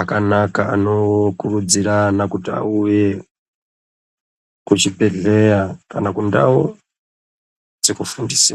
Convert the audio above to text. akanaka, anokurudzira ana kuti auye kuzvibhedhleya kana kundau dzekufundise